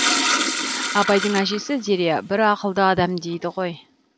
абайдың әжесі зере бір ақылды адам дейді ғой